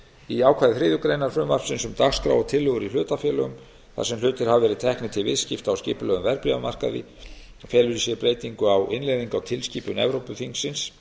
í ákvæði þriðju greinar frumvarpsins um dagskrá og tillögur í hlutafélögum þar sem hlutir hafa verið teknir til viðskipta á skipulegum verðbréfamarkaði felur í sér breytingu á innleiðingu á tilskipun evrópuþingsins